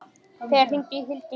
Per, hringdu í Hildigunni.